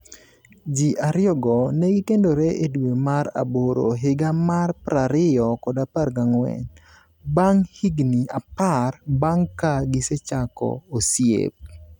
Ji ariyogo ne gikendore e dwe mar aboro higa mar 2014, bang' higni apar bang' ka gisechako osiep.